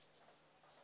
usa patriot act